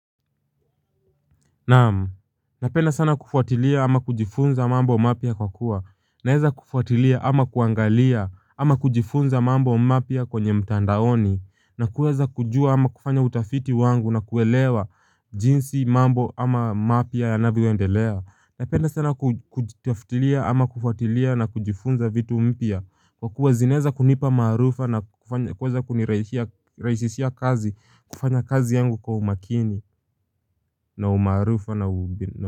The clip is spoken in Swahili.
Naam. Napenda sana kufuatilia ama kujifunza mambo mapya kwa kuwa. Naeza kufuatilia ama kuangalia ama kujifunza mambo mapya kwenye mtandaoni. Na kueza kujua ama kufanya utafiti wangu na kuelewa jinsi mambo ama mapya yanavyoendelea. Napenda sana kutafutilia ama kufuatilia na kujifunza vitu mpya Kwa kuwa zinaeza kunipa maarifa na kuweza kunirahisishia kazi kufanya kazi yangu kwa umakini na umaarufu na umbinu.